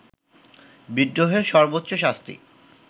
বিদ্রোহের সর্বোচ্চ শাস্তি